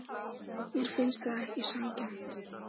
Mér finnst það ekki sanngjarnt.